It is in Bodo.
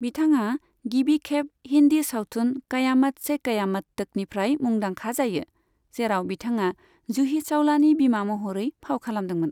बिथाङा गिबि खेब हिन्दी सावथुन कयामत से कयामत तकनिफ्राय मुंदांखा जायो, जेराव बिथाङा जूही चावलानि बिमा महरै फाव खालामदोंमोन।